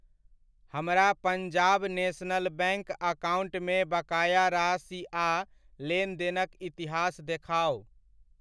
हमरा Punjab National Bank अकाउण्टमे बकाया राशि आ लेनदेनक इतिहास देखाउ।